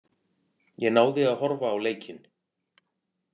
Ég náði að horfa á leikinn.